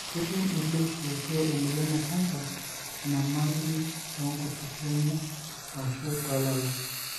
ketum iloishuotuo emoyian ecanser enyamali tonkutukie enye ashu tolala.